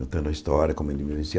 Contando a história, como ele me.